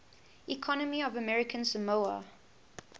economy of american samoa